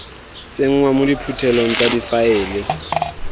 tsenngwa mo diphuthelong tsa difaele